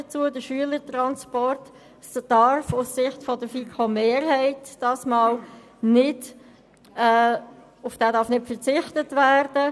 Auf den Schülertransport darf aus Sicht der FiKoMehrheit nicht verzichtet werden.